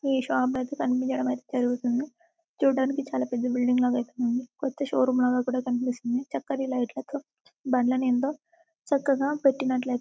ఈ షాప్ యితే కనిపించడం జరుగుతుంది చూడడానికీ చాలా పెద్ద బిల్డింగ్ లాగా యితే ఉంది కొత్త షోరూమ్ లాగా కూడా కనిపిస్తోంది చక్కని లైట్ లతో బండలను ఎంతో చక్కగా పటిన్తుయితే ఉంది.